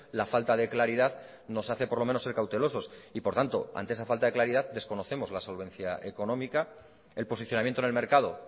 la falta de claridad nos hace por lo menos ser cautelosos y por tanto ante esa falta de claridad desconocemos la solvencia económica el posicionamiento en el mercado